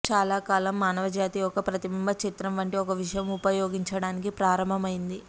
చాలా కాలం మానవజాతి ఒక ప్రతిబింబ చిత్రం వంటి ఒక విషయం ఉపయోగించడానికి ప్రారంభమైంది